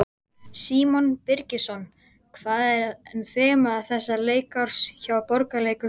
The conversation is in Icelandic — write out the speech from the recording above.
Símon Birgisson: Hvað er þema þessa leikárs hjá Borgarleikhúsinu?